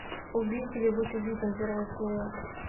убить или быть убитым первая серия